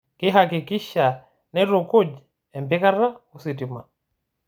Keihakikisha neitukuj empikata o sitima